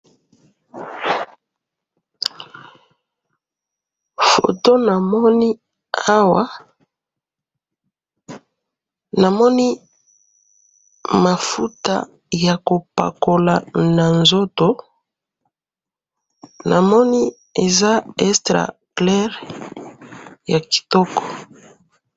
photo namoni awa, namoni mafuta ya kopakola na nzoto, namoni eza extra clair ya kitoko